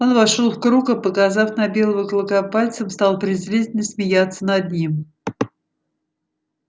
он вошёл в круг и показав на белого клыка пальцем стал презрительно смеяться над ним